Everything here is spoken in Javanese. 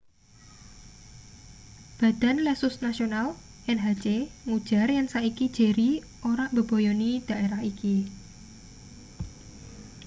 badan lesus nasional nhc ngujar yen saiki jerry ora mbebayani daerah iki